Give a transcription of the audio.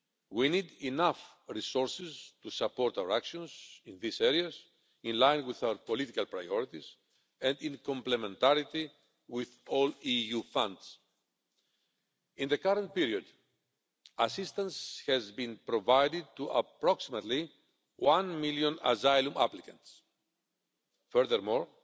We need enough resources to support our actions in these areas in line with our political priorities and in complementarity with all EU funds. In the current period assistance has been provided to approximately one million asylum applicants. Furthermore,